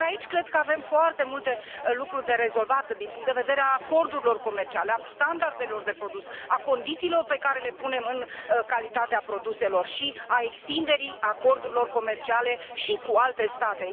Ori aici cred că avem foarte multe lucruri de rezolvat din punct de vedere al acordurilor comerciale, al standardelor de produs, al condițiilor pe care le punem în calitatea produselor și al extinderii acordurilor comerciale și cu alte state.